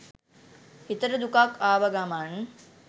හිතට දුකක් ආව ගමන්